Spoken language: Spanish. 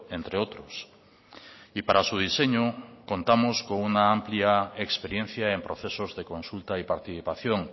entre otros y para su diseño contamos con una amplia experiencia en procesos de consulta y participación